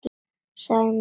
Sagan mín, svarar hann.